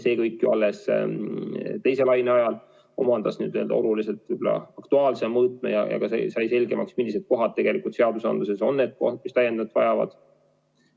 See kõik ju alles teise laine ajal omandas oluliselt aktuaalsema mõõtme ja sai selgemaks, millised kohad seadusandluses on need kohad, mis täiendavalt vajavad.